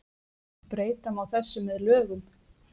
breyta má þessu með lögum